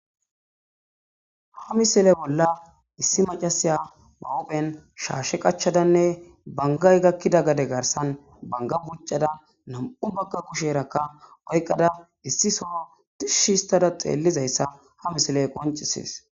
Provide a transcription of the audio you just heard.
Ha misile bolla issi macasiya ba huuphen shaashe qachadanne bangay gakkida gade garsan banga buccada nam7u bagga kusherakka oyqada issi soo tishshi histada xeellizayssa ha misile qoncisees.